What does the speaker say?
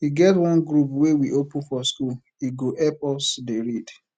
e get one group wey we open for schoole go help us dey read